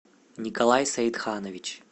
николай саидханович